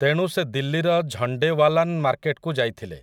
ତେଣୁ ସେ ଦିଲ୍ଲୀର ଝଣ୍ଡେୱାଲାନ୍ ମାର୍କେଟକୁ ଯାଇଥିଲେ ।